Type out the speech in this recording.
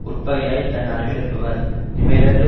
உட்பகையாய்த் தன் னருகிலிருப்பவர் இவை யிரண்டும்